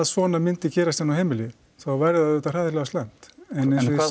svona myndi gerast inni á heimili þá væri það auðvitað hræðilega slæmt en en hvað